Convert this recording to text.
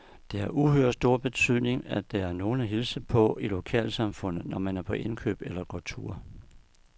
Det har uhyre stor betydning, at der er nogen at hilse på i lokalsamfundet, når man er på indkøb eller går tur.